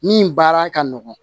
Min baara ka nɔgɔn